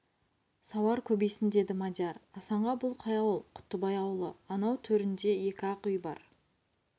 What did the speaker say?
сауар көбейсін деді мадияр асанға бұл қай ауыл құттыбай ауылы анау терінде екі ақ үй бар